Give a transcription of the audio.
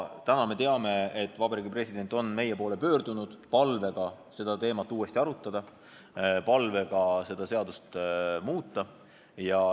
Täna me teame, et Vabariigi President on meie poole pöördunud palvega seda teemat uuesti arutada, palvega seda seadust muuta.